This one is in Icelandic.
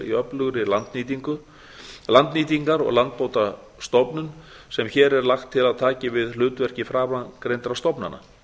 í öflugri landnýtingar og landbótastofnun sem hér er lagt til að taki við hlutverki framangreindra stofnana